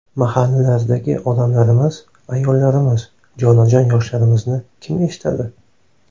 Mahallalardagi odamlarimiz, ayollarimiz, jonajon yoshlarimizni kim eshitadi?!